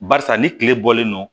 Barisa ni kile bɔlen don